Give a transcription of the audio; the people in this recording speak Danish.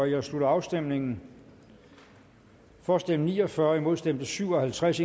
jeg slutter afstemningen for stemte ni og fyrre imod stemte syv og halvtreds